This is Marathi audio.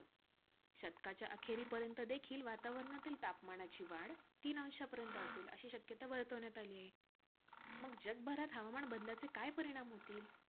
शतकाच्या अखेरीपर्यंत देखील वातावरणातील तापमानाची वाढ तीन अंशपर्यंत असेल, अशी शक्यता वर्तवण्यात आली आहे. मग जगभरात हवामान बदलाचे काय परिणाम होतील?